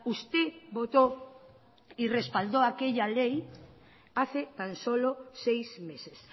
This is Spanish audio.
usted votó y respaldó aquella ley hace tan solo seis meses